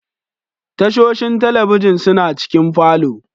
Tashoshin talabijin suna cikin falo.